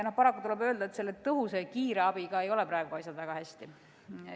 Paraku tuleb öelda, et selle tõhusa ja kiire abiga ei ole praegu asjad väga hästi.